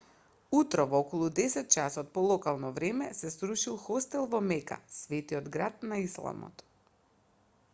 утрово околу 10 часот по локално време се срушил хостел во мека светиот град на исламот